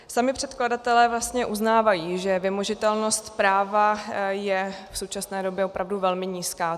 Sami předkladatelé vlastně uznávají, že vymožitelnost práva je v současné době opravdu velmi nízká.